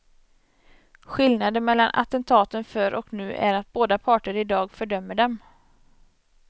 Skillnaden mellan attentaten förr och nu är att båda parter i dag fördömer dem.